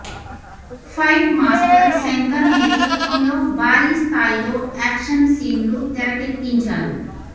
fight master Shankar నేతృత్వంలో భారీ స్థాయిలో యాక్షన్ సీన్లు తెరకెక్కించారు